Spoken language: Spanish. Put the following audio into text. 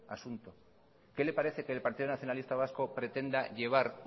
asunto qué le parece que el partido nacionalista vasco pretenda llevar